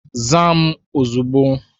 Zaa m ozugbo